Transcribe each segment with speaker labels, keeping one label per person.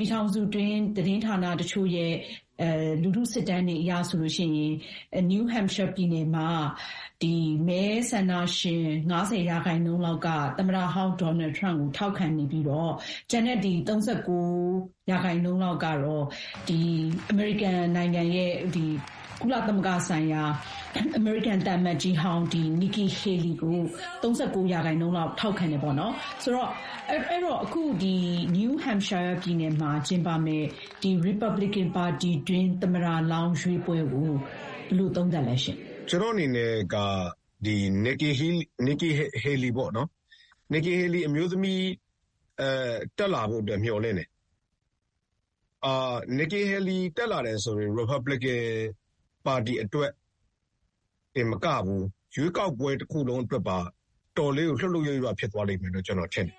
Speaker 1: ပြည်ထောင်စုတွင်း သတင်းဌာနတချို့ရဲ့ စစ်တမ်းတွေအရ New Hampshire ပြည်နယ် မဲဆန္ဒရှင်တွေရဲ့ ၅၀ ရာခိုင်နှုန်း Donald Trump ကိုထောက်ခံပြီး Nikki Haley ကိုတော့ ၃၉ ရာခိုင်နှုန်း ထောက်ခံကြတယ်လို့ဆိုတယ်။ အဲတော့ ဒေသစံတော်ချိန် အင်္ဂါနေ့မှာ New Hampshire ပြည်နယ်မှာ ကျင်းပမယ့် ရီပတ်ဘလစ်ကန်ပါတီတွင်း သမ္မတလောင်းရွေးပွဲအခြေအနေကို ကိုမိုးချမ်း ဘယ်လို သုံးသပ်လဲ။
Speaker 2: ကျနော့်အနေနဲ့က Nikki Haley အမျိုးသမီး တက်လာဖို့အတွက် မျှော်လင့်တယ်။ Nikki Haley တက်လာတယ်ဆိုရင် ရီပတ်ဘလစ်ကန်ပါတီအတွက်တင်မကဘူး၊ ရွေးကောက်ပွဲတခုလုံးအတွက်ပါ အတော်လေးကို လှုပ်လှုပ်ရွရွ ဖြစ်သွားလိမ့်မယ်လို့ ကျနော်ထင်တယ်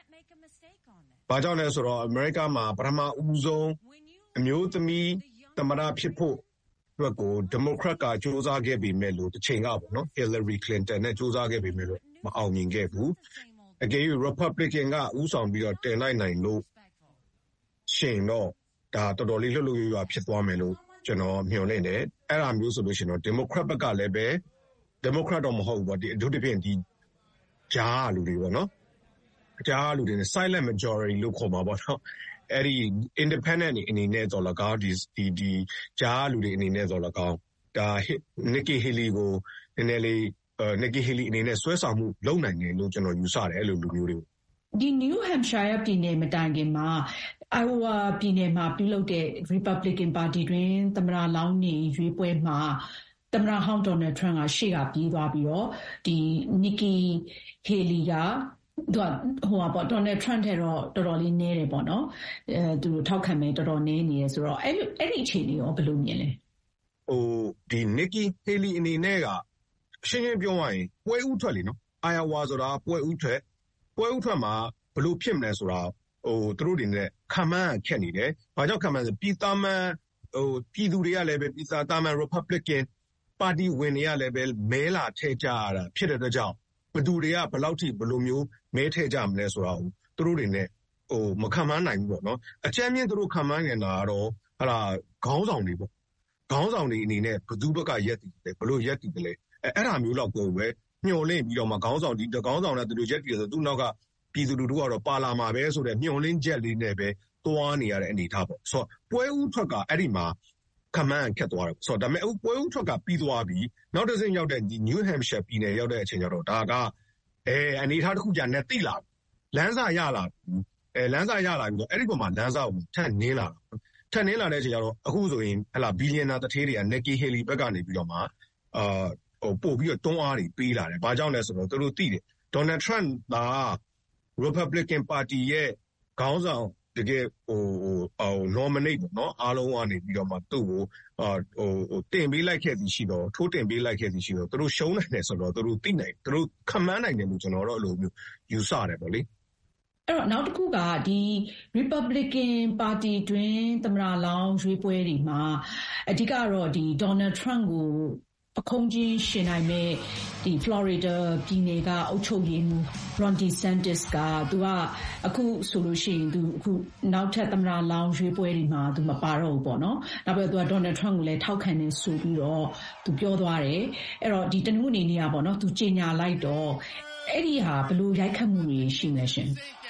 Speaker 2: ။ ဘာကြောင့်လဲဆိုတော့ အမေရိကားမှာ ပထမဦးဆုံး အမျိုးသမီးသမ္မတဖြစ်ဖို့အတွက်ကို ဒီမိုကရက်က တချိန်က ဟီလာရီကလင်တန်နဲ့ ကြိုးစားခဲ့ပေမဲ့လို့ မအောင်မြင်ခဲ့ဘူး၊ အကယ်၍ ရီပတ်ဘလစ်ကန်က ဦးဆောင်ပြီးတောင် တင်လိုက်နိုင်လို့ ရှိရင်တော့ တော်တော်လေး လှုပ်လှုပ်ရွရွ ဖြစ်သွားမယ်လို့ ကျနော်မျှော်လင့်တယ်။ အဲဒါမျိုးဆိုလို့ရှိရင်တော့ ဒီမိုကရက်ဘက်ကလည်း.... ဒီမိုကရက်တော့ မဟုတ်ဘူးပေါ့၊ အထူးသဖြင့် ကြားကလူတွေပေါ့နော်၊ silent majorities လို့ ခေါ်မှာပေါ့၊ အဲဒီ independent အနေနဲ့သော်လည်းကောင်း၊ ကြားကလူတွေအနေနဲ့သော်လည်းကောင်း Nikki Haley အနေနဲ့ နည်းနည်းလေး ဆွဲဆောင်မှုလုပ်နိုင်မယ်လို့ ကျနော် ယူဆတယ်၊ အဲလိုလူမျိုးတွေကို။
Speaker 1: အခုယှဉ်ပြိုင်မယ့် New Hampshire ပြည်နယ်မတိုင်ခင် အိုင်အိုဝါပြည်ရွေးကောက်ပွဲမှာ Nikki Haley ထောက်ခံမှု သိပ်မရခဲ့တဲ့အပေါ်ကိုရော ဘယ်လိုမြင်လဲ။
Speaker 2: Nikki Haley အနေနဲ့က ရှင်းရှင်းပြောရရင် ပွဲဦးထွက်နော်- အိုင်အိုဝါဆိုတာက ပွဲဦးထွက်မှာ ဘယ်လိုဖြစ်မယ်ဆိုတာ သူတို့အနေနဲ့ ခန့်မှန်းရခက်နေတယ်။ ဘာကြောင့်ခန့်မှန်းရခက်မလဲဆိုတော့ သာမန်ပြည်သူတွေကလည်းပဲ သာမန် ရီပတ်ဘလစ်ကန်ပါတီဝင်တွေကလည်းပဲ မဲလာထည့်ကြရတာဖြစ်တဲ့အတွက်ကြောင့် ဘယ်သူတွေက ဘယ်လောက်ထိ ဘယ်လိုမျိုး မဲထည့်ကြမလဲဆိုတာကို သူတို့အနေနဲ့ မခန့်မှန်းနိုင်ဘူးပေါ့။ အကြမ်းဖျင်း သူတို့ခန့်မှန်းနိုင်တာကတော့ ခေါင်းဆောင်တွေပေါ့၊ ခေါင်းဆောင်တွေအနေနဲ့ ဘယ်သူ့ဘက်ကရပ်တည်မလဲ၊ ဘယ်လိုရပ်တည်မလဲ-အဲဒါမျိုးလောက်ကိုပဲ မျှော်လင့်ပြီးတော့မှ ခေါင်းဆောင်တွေက ဒီလိုရပ်တည်ရင် သူ့နောက်ကပြည်သူလူထုက ပါလာမှာပဲ' ဆိုတဲ့ မျှော်လင့်ချက်လေးနဲ့ပဲ သွားနေရတဲ့အနေအထားပေါ့။...ဆိုတော့ ပွဲဦးထွက်က အဲဒီမှာ ခန့်မှန်းရခက်သွားတယ်။ ဒါပေမဲ့ ပွဲဦးထွက်က ပြီးသွားပြီ။ နောက်တဆင့်ရောက်တဲ့ နယူးဟမ့်ရှိုင်းယားပြည်နယ်ရောက်တဲ့အချိန်မှာတော့ ဒါက အနေအထားတခု,...သိလာပြီ။ လမ်းစရလာပြီပေါ့။ အဲဒီအပေါ်မှာ လမ်းစကို ထပ်နင်းလာပြီပေါ့၊ ထပ်နင်းလာတဲ့အချိန်ကျတော့ အခုဆိုရင် မီလျံနာသူဌေးတွေက Nikki Haley ဘက်ကနေပြီးတော့မှ ပိုပြီးတော့ တွန်းအားတွေ ပေးလာတယ်။ ဘာကြောင့်လဲဆိုတော့ သူတို့သိတယ်။ ဒေါ်နယ်ထရမ့်သာ ရီပတ်ဘလစ်ကန်ပါတီရဲ့ခေါင်းဆောင် တကယ့်... nominate အားလုံးကနေပြီးမှ သူ့ကို ထိုးတင်ပေးလိုက်ခဲသည်ရှိသော် သူတို့ ရှုံးနိုင်တယ်ဆိုတာကို သူတို့သိတယ်။ သူတို့ခန့်မှန်းနိုင်တယ်လို့ ကျနော် ယူဆတယ်ပေါ့လေ။
Speaker 1: ရီပတ်ဘလီကန်ပါတီတွင်း သမ္မတလောင်းအဖြစ် အရွေးချယ်ခံမယ့်သူတွေထဲမှာ Donald Trump ကို အဓိကယှဉ်ပြိုင်နိုင်မယ့်သူလို့ သတ်မှတ်ခံထားရတဲ့ ဖလော်ရီဒါပြည်နယ်အုပ်ချုပ်ရေးမှူး Ron DeSantis က သူပါဝင်ယှဉ်ပြိုင်တော့မှာ မဟုတ်ဘူးလို့ တနင်္ဂနွေနေ့က ကြေညာခဲ့တာကရော ဘယ်လို ရိုက်ခတ်မှုတွေ ရှိမလဲ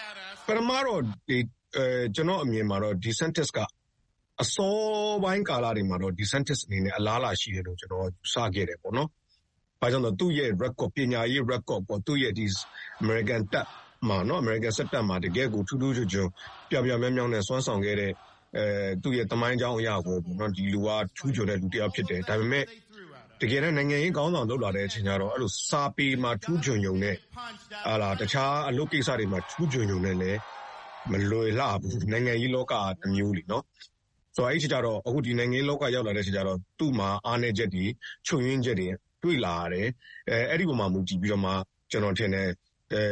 Speaker 1: ။
Speaker 2: ပထမတော့ ကျနော့အမြင်မှာတော့ အစောပိုင်းကာလတွေမှာ DeSantis အနေနဲ့ အလားအလာရှိတယ်လို့ ကျနော် ယူဆခဲ့တယ်ပေါ့နော်။ ဘာကြောင့်လဲဆိုတော့ သူ့ရဲ့ ပညာရေး record ၊ အမေရိကန်စစ်တပ်မှာ တကယ့်ကို ထူးထူးချွန်ချွန် ပြောင်ပြောင်မြောက်မြောက်နဲ့စွမ်းဆောင်ခဲ့တဲ့ သူ့ရဲ့သမိုင်းကြောင်းအရကော ဒီလူက ထူးချွန်တဲ့လူတယောက်ဖြစ်တယ်။ ဒါပေမဲ့ တကယ်တန်း နိုင်ငံရေးခေါင်းဆောင် လုပ်လာတဲ့အချိန်ကျတော့ အဲဒီလို စာပေမှာထူးချွန်ရုံနဲ့ တခြားအလုပ်ကိစ္စတွေမှာ ထူးချွန်ရုံနဲ့လည်း မလွယ်လှဘူး။ နိုင်ငံရေးလောက-က တမျိုးလေ၊ နော်။ ဆိုတော့ အခု နိုင်ငံရေးလောကကို ရောက်လာတဲ့အချိန်ကျတော့ သူ့မှာ အားနည်းချက်တွေ၊ ချွတ်ယွင်းချက်တွေ တွေ့လာရတယ်။ အဲဒီအပေါ်မှာမူတယ်ပြီးတော့မှ ကျနော်ထင်တယ်၊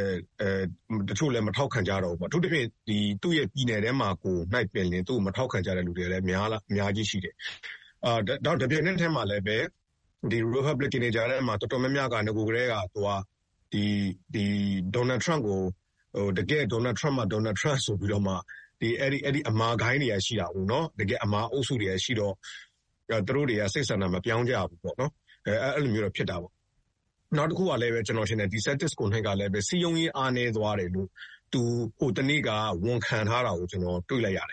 Speaker 2: တချို့လည်း မထောက်ခံကြတော့ဘူးပေါ့၊ အထူးသဖြင့် သူ့ရဲ့ပြည်နယ်ထဲမှာကိုနှိုက်ပင်လျှင် သူ့ကိုမထောက်ခံကြတဲ့သူတွေလည်း အများကြီးရှိတယ်။ တပြိုင်နက်တည်းမှာပဲလည်း ရီပတ်ဘလစ်ကန်တွေကြားထဲမှာ တော်တော်များများက နဂိုကတည်းက ဒေါ်နယ်ထရမ့်ကို တကယ့် ဒေါ်နယ်ထရမ့်မှ ဒေါ်နယ်ထရမ့်- ဆိုပြီးတော့မှ အဲဒီ အမာဂိုဏ်းတွေက ရှိတာကို နော်။ တကယ့်အမာအုပ်စုတွေက ရှိတော့ သူတို့တွေက စိတ်ဆန္ဒမပြောင်းကြဘူးပေါ့နော်၊ အဲဒီလိုမျိုးတော့ ဖြစ်တာပေါ့။ နောက်တခုကလည်းပဲ DeSantis ကိုယ်နှိုက်ကလည်း စည်းရုံးရေးအားနည်းသွားတယ်လို့ သူဟိုတနေ့က ဝန်ခံထားတာကို ကျနော် တွေ့လိုက်ရတယ်